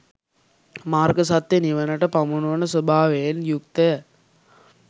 මාර්ග සත්‍යය නිවනට පමුණුවන ස්වභාවයෙන් යුක්තය.